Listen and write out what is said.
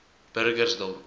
burgersdorp